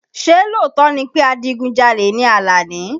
Ṣé lóòótọ́ ni pé adigunjalè ni Alani?